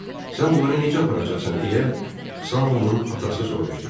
Sən bunları necə aparacaqsan, deyə Saonun atası soruşdu.